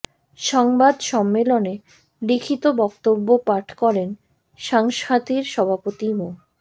সংবাদ সম্মেলনে লিখিত বক্তব্য পাঠ করেন সংস্থাটির সভাপতি মো